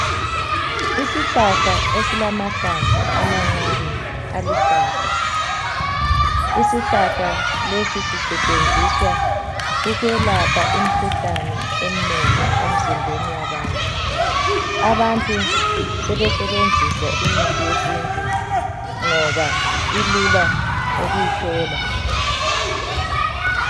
Isihlahla esilamahlamvu amancane aluhlaza isihlahla lesi sisetsheenziswa ukwelapha imkhuhlane emnengi emzimbeni yabantu abantu sebesebenzisa imithi yesintu ngoba ilula ukuyithola